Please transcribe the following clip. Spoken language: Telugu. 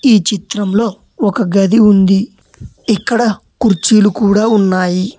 ఈ చిత్రంలో ఒక గది ఉంది ఇక్కడ కుర్చీలు కూడా ఉన్నాయి.